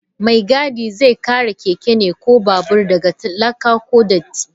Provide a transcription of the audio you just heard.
Mai gadi zai kare keke ko babur daga laka ko datti.